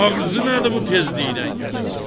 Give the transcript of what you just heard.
Ağzı nədir bu tezliklə yatsın.